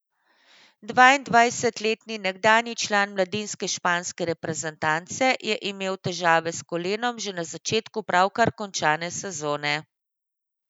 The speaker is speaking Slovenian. Dvaindvajsetletni nekdanji član mladinske španske reprezentance je imel težave s kolenom že na začetku pravkar končane sezone.